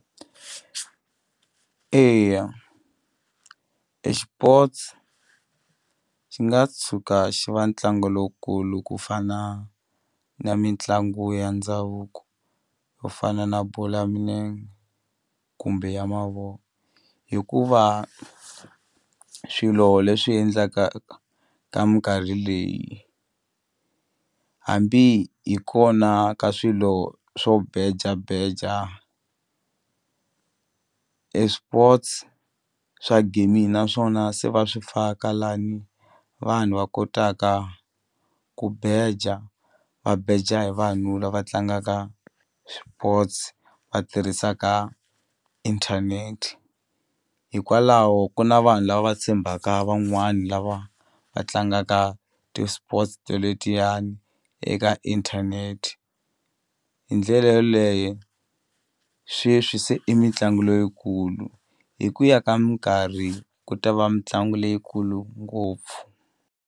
Eya exipotsi xi nga tshuka xi va ntlangu lowukulu ku fana na mitlangu ya ndhavuko yo fana na bolo ya minenge kumbe ya hikuva swilo leswi endlaka ka mikarhi leyi hambi hi kona ka swilo swo beja beja e swipotsi swa gaming naswona se va swi faka lani vanhu va kotaka ku beja va beja hi vanhu lava tlangaka swipotsi va tirhisaka inthanete hikwalaho ku na vanhu lava va tshembaka van'wani lava va tlangaka ti-sport to letiyani eka inthanete hi ndlela yeleyo sweswi se i mitlangu loyikulu hi ku ya ka minkarhi ku ta va mitlangu leyikulu ngopfu.